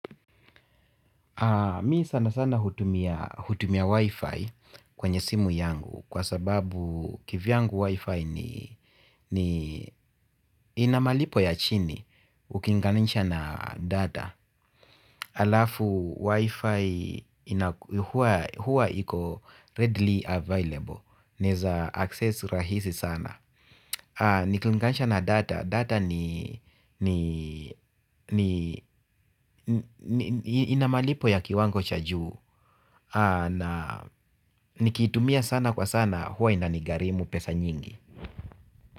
Mi sana sana hutumia wifi kwenye simu yangu kwa sababu kivyangu wifi ni inamalipo ya chini ukinganisha na data alafu wifi hua iko readily available. Naeza access rahisi sana. Niklingansha na data, data ni inamalipo ya kiwango cha juu. Na nikitumia sana kwa sana huwa inanigarimu pesa nyingi.